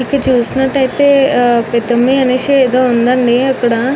ఇక్కడ చూసినట్టైతే పేద మనషి ఎదో ఉందండి ఇక్కడ.